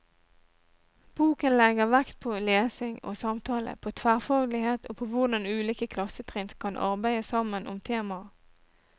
Boken legger vekt på lesing og samtale, på tverrfaglighet og på hvordan ulike klassetrinn kan arbeide sammen om temaer.